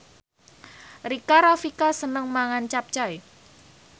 Rika Rafika seneng mangan capcay